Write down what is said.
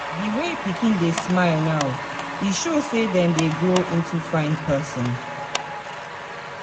Di way pikin dey smile now, it show say dem dey grow into fine person.